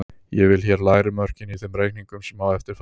Ég vel hér lægri mörkin í þeim reikningum sem á eftir fara.